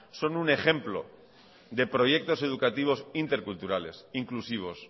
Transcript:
son un ejemplo de proyectos educativos interculturales inclusivos